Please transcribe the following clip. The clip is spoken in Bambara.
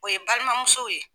O ye balimamusow ye.